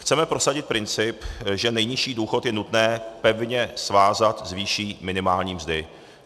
Chceme prosadit princip, že nejnižší důchod je nutné pevně svázat s výší minimální mzdy.